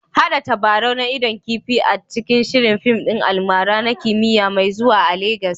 Haɗa tabarau na idon kifi a cikin shirin fim ɗin almara na kimiyya mai zuwa a Legas